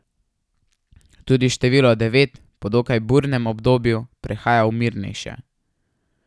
Tudi število devet po dokaj burnem obdobju prehaja v mirnejše.